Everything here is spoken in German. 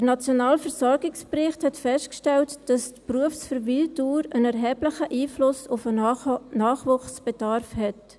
Der nationale Versorgungsbericht hat festgestellt, dass die Berufsverweildauer einen erheblichen Einfluss auf den Nachwuchsbedarf hat.